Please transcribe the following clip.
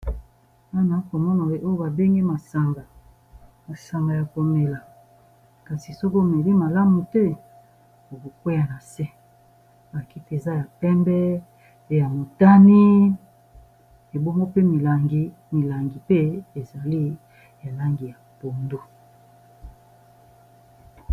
Awa naza komona oyo ba bengi masanga ya komela kasi soko omeli malamu te oko kweya na se, ba kiti eza ya pembe, ya motane, bomgo pe milangi ezali langi ya pondu.